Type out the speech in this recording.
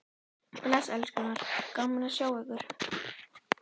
Bless elskurnar, gaman að sjá ykkur!